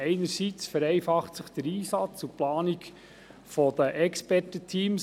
Einerseits vereinfachen sich der Einsatz und die Planung des Expertenteams.